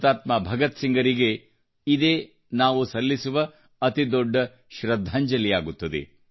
ಹುತಾತ್ಮ ಭಗತ್ಸಿಂಗ್ರಿಗೆ ಇದೇ ನಾವು ಸಲ್ಲಿಸುವ ಅತಿ ದೊಡ್ಡ ಶ್ರದ್ಧಾಂಜಲಿ ಆಗುತ್ತದೆ